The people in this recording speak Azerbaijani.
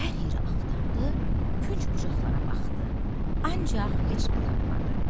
Hər yeri axtardı, künc-bucaqlara baxdı, ancaq heç nə tapmadı.